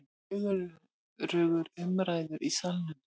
Fjörugur umræður í Salnum